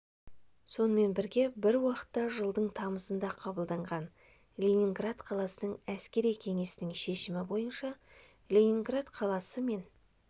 сонымен бірге бір уақытта жылдың тамызында қабылданған ленинград қаласының әскери кеңесінің шешімі бойынша ленинград қаласы мен